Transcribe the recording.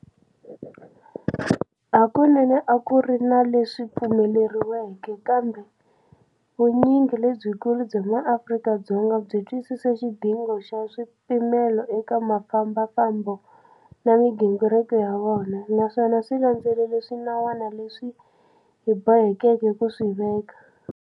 Hakunene a ku ri na leswi pfumeleriweke, kambe vunyingi lebyikulu bya maAfrika-Dzonga byi twisise xidingo xa swipimelo eka mfambafambo na migingiriko ya vona, naswona byi landzelele swinawana leswi hi bohekeke ku swi veka.